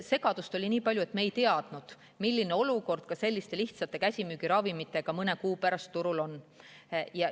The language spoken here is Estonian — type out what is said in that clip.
Segadust oli palju, me ei teadnud, milline olukord ka selliste lihtsate käsimüügiravimitega mõne kuu pärast turul on.